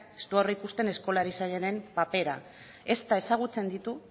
ez du aurreikusten eskola erizainen papela ezta ezagutzen ditu